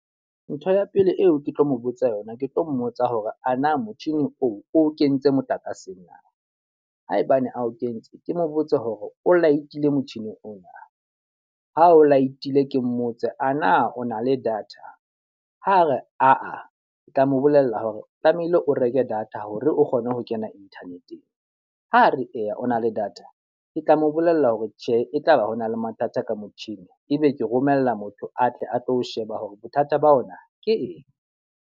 Ntho ya pele eo ke tlo mo botsa yona, ke tlo mmotsa hore ana motjhini oo o kentse motlakaseng na? Haebane ao kentse, ke mo botse hore o light-ile motjhini ona? Ha o light-ile ke mmotse a na o na le data? Ha re Aa, ke tla mo bolella hore tlamehile o reke data hore o kgone ho kena internet-eng. Ha re eya o na le data, ke tla mo bolella hore tjhe e tlaba ho na le mathata ka motjhini, e be ke romella motho atle a tlo sheba hore bothata ba ona ke eng.